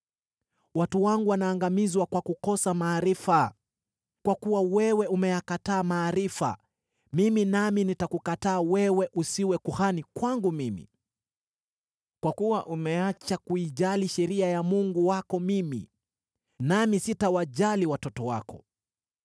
watu wangu wanaangamizwa kwa kukosa maarifa, “Kwa kuwa wewe umeyakataa maarifa, mimi nami nitakukataa wewe usiwe kuhani kwangu mimi; kwa kuwa umeacha kuijali sheria ya Mungu wako mimi nami sitawajali watoto wako.